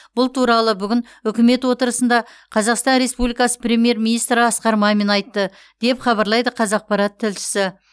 бұл туралы бүгін үкімет отырысында қазақстан республикасы премьер министрі асқар мамин айтты деп хабарлайды қазақпарат тілшісі